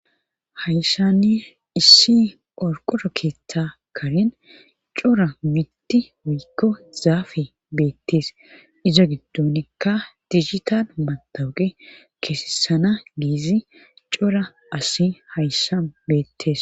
Hayssanni issi orqora keeththa karen cora mitti wuykko zaafe beettees izo giddonekka tijitan matawuge keesesana giezi cora asi hayssa beettees